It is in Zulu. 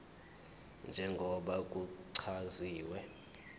njengoba kuchaziwe emthethweni